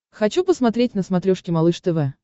хочу посмотреть на смотрешке малыш тв